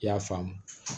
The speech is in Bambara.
I y'a faamu